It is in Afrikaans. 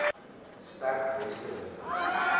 sterk weste winde